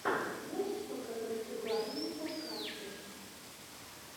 можешь показать угарные подкасты